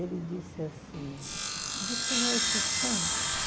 Ele disse assim, de quem é esses santos?